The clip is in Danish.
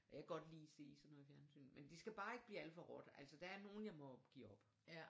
Jeg kan godt lide at se sådan noget fjernsyn men det skal bare ikke blive alt for råt altså der er nogen jeg må give op